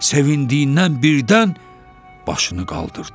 sevindiyindən birdən başını qaldırdı.